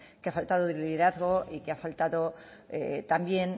que ha faltado liderazgo y que ha faltado también